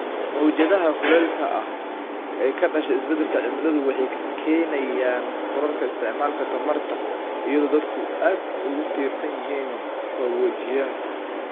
Mowjadaha kulaylka ah ee ka dhasha isbeddelka cimiladu waxay keenayaan kororka isticmaalka tamarta iyadoo dadku aad ugu tiirsan yihiin qaboojiyaha.